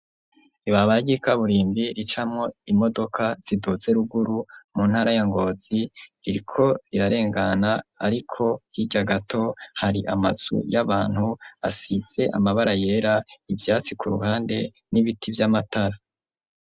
ibabara ryi kaburimbi ricamwo imodoka ziduze ruguru mu ntara ya ngozi ririko rirarengana ariko yijya gato hari amatsu y'abantu asitse amabara yera ibyatsi ku ruhande n'ibiti by'amatara.